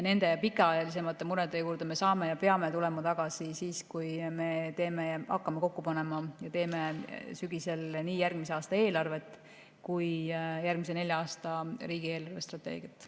Nende pikaajalisemate murede juurde me saame tulla ja peame tulema tagasi siis, kui me hakkame kokku panema ja teeme sügisel nii järgmise aasta eelarvet kui ka järgmise nelja aasta riigi eelarvestrateegiat.